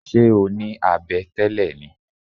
Ṣé o ní abẹ tẹ́lẹ̀ ni?